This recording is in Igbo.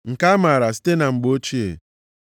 Nke a amaara site na mgbe ochie.